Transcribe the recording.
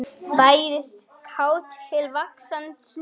Bærist kát til vaxtar snúin.